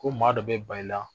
Ko maa dɔ bɛ ba i la